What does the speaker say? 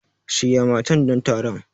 Shirya matan don taron.